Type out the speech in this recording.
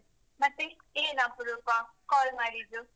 ಮತ್ತೆ, ಏನ್ ಅಪ್ರೂಪ call ಮಾಡಿದ್ದು?